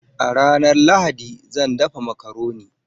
A ranar Lahadi, zan dafa makaroni.